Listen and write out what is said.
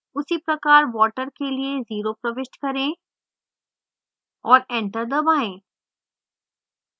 उसीप्रकार water के लिए इसे 0 प्रविष्ट करें और enter दबाएँ